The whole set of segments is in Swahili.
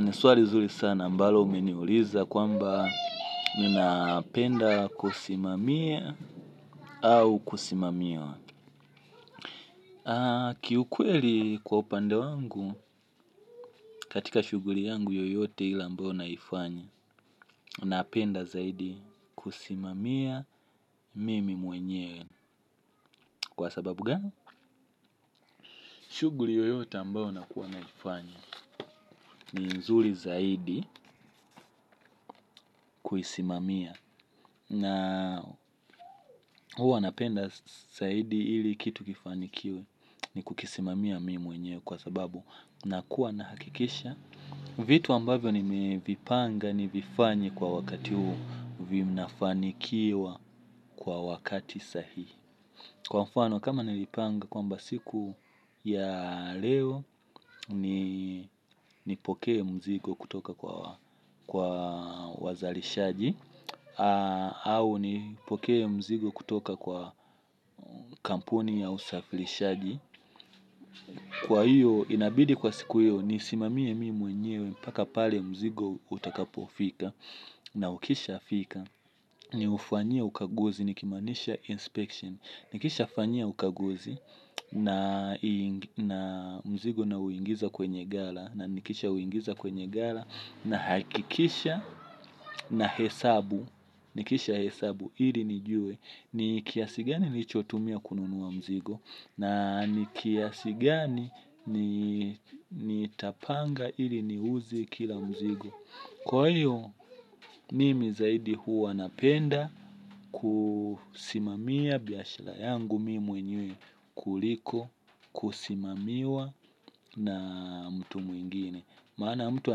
Ni swali zuri sana ambalo umeniuliza kwamba mimi napenda kusimamia au kusimamiwa. Kiukweli kwa upande wangu, katika shughuli yangu yoyote ile ambao naifanya, napenda zaidi kusimamia mimi mwenyewe. Kwa sababu gani? Shughuli yoyote ambayo nakuwa naifanya, ni nzuri zaidi kuisimamia. Na huwa napenda zaidi ili kitu kifanikiwe ni kukisimamia mimi mwenyewe kwa sababu nakuwa nahakikisha vitu ambavyo nimevipanga nivifanye kwa wakati huu vinafanikiwa kwa wakati sahi. Kwa mfano kama nilipanga kwamba siku ya leo nipokee mzigo kutoka kwa wazalishaji au nipokee mzigo kutoka kwa kampuni ya usafilishaji kwa hiyo inabidi kwa siku hiyo nisimamie mimi mwenyewe mpaka pale mzigo utakapofika na ukishafika niufanyie ukaguzi nikimaanisha inspection nikishafanyia ukaguzi na mzigo nauingiza kwenye gala na nikishauingiza kwenye gala nahakikisha nahesabu. Nikishahesabu, ili nijue, ni kiasi gani nilichotumia kununua mzigo, na ni kiasi gani nitapanga ili niuze kila mzigo. Kwa hiyo, mimi zaidi huwa napenda kusimamia biashara yangu mimi mwenyewe kuliko, kusimamiwa na mtu mwingine. Maana mtu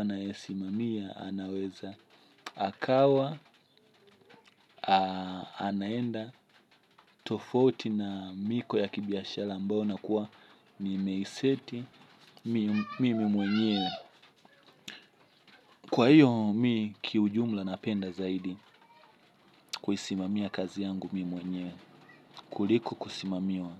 anayesimamia, anaweza, akawa, anaenda, tofauti na miko ya kibiashara ambao inakuwa nimeiseti, mimi mwenyewe. Kwa hiyo mimi kiujumla napenda zaidi kuisimamia kazi yangu mimi mwenyewe, kuliko kusimamiwa.